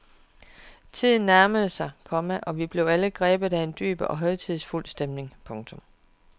Tiden nærmede sig, komma og vi blev alle grebet af en dyb og højtidsfuld stemning. punktum